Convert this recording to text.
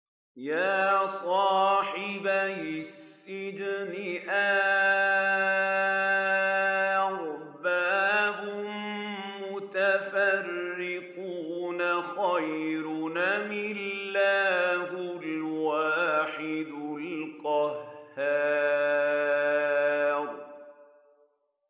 يَا صَاحِبَيِ السِّجْنِ أَأَرْبَابٌ مُّتَفَرِّقُونَ خَيْرٌ أَمِ اللَّهُ الْوَاحِدُ الْقَهَّارُ